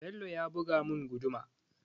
Bello ya buga mun guduma